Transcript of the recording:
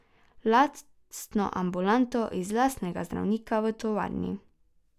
Lastno ambulanto in lastnega zdravnika v tovarni.